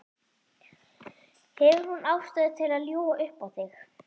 Hefur hún ástæðu til að ljúga upp á þig?